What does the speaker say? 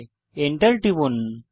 Enter টিপুন